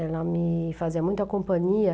Ela me fazia muita companhia.